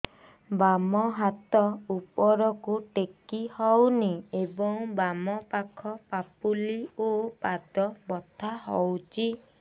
ବାମ ହାତ ଉପରକୁ ଟେକି ହଉନି ଏବଂ ବାମ ପାଖ ପାପୁଲି ଓ ପାଦ ବଥା ହଉଚି